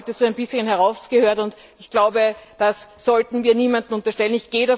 Das habe ich heute so ein bisschen herausgehört, und ich glaube, das sollten wir niemandem unterstellen.